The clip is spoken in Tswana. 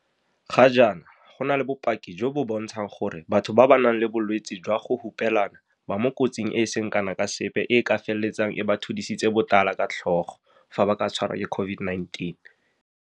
Ga jaana, go na le bopaki jo bo bontshang gore batho ba ba nang le bolwetse jwa go hupelana ba mo kotsing e e seng kana ka sepe e e ka feletsang e ba thudisitse botala ka tlhogo fa ba ka tshwarwa ke COVID-19.